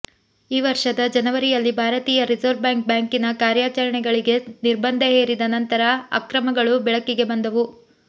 ಈ ವರ್ಷದ ಜನವರಿಯಲ್ಲಿ ಭಾರತೀಯ ರಿಸರ್ವ್ ಬ್ಯಾಂಕ್ ಬ್ಯಾಂಕಿನ ಕಾರ್ಯಾಚರಣೆಗಳಿಗೆ ನಿರ್ಬಂಧ ಹೇರಿದ ನಂತರ ಅಕ್ರಮಗಳು ಬೆಳಕಿಗೆ ಬಂದವು